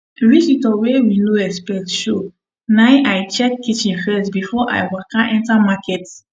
visitor wey we no expect show nai i check kitchen first before i waka enter market